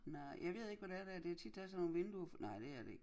Nej jeg ved ikke hvad det er dér det tit der er sådan nogen vinduer nej det er det ikke